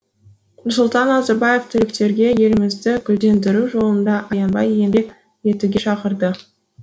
нұрсұлтан назарбаев түлектерге елімізді гүлдендіру жолында аянбай еңбек етуге шақырды